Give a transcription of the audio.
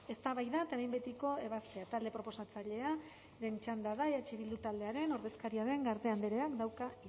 eztabaida eta behin betiko ebazpena taldea proposatzailea lehen txanda da eh bilduren ordezkaria den garde andreak dauka